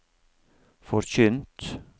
forkynt